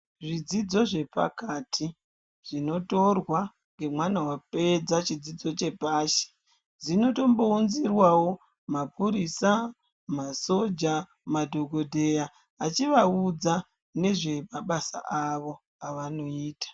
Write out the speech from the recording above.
Zvidzidzo zvepakati, zvinotorwa ngemwana wapedza zvidzidzo zvepashi, dzinotombounzirwawo mapurisa, masoja madhokodheya vachivaudza nezvemabasa avo avanoita.